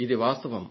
ఇది వాస్తవం